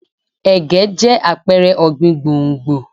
Ẹ̀gẹ́ jẹ́ àpẹrẹ ọ̀gbìn gbòǹgbò.